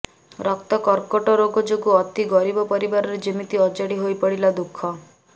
ରକ୍ତ କର୍କଟ ରୋଗ ଯୋଗୁଁ ଅତି ଗରିବ ପରିବାରରେ ଯେମିତି ଅଜାଡି ହୋଇପଡିଲା ଦୁଃଖ